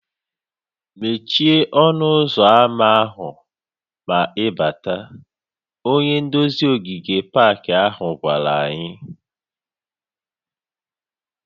"Mechie ọnụ ụzọ ámá ma ị bátá" Onye nduzi ogige pak ahụ gwara anyị":